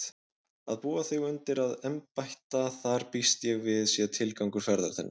Að búa þig undir að embætta þar býst ég við sé tilgangur ferðar þinnar.